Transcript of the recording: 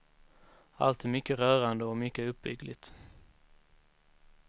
Allt är mycket rörande och mycket uppbyggligt.